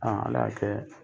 On ala y'a kɛ